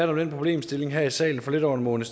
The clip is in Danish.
den problemstilling her i salen for lidt over en måned